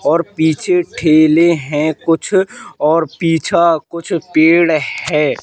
और पीछे ठेले हैं कुछ और पीछा कुछ पेड़ है।